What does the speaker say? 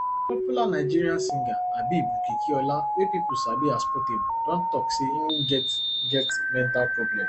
popular nigerian singer habeeb okikiola wey pipo sabi as portable don tok say im get get mental problem